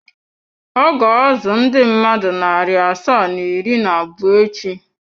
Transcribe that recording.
Ọ ga-azụ ndị mmadụ narị asaa na iri na abụọ echi.